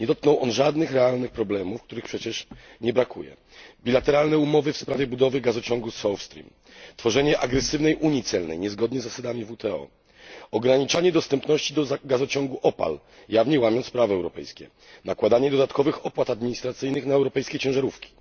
Nie dotknął on żadnych realnych problemów, których przecież nie brakuje dwustronne umowy w sprawie budowy gazociągu South Stream, tworzenie agresywnej unii celnej, niezgodnie z zasadami WTO, ograniczanie dostępności do gazociągu Opal, jawnie łamiąc prawo europejskie, nakładanie dodatkowych opłat administracyjnych na europejskie ciężarówki.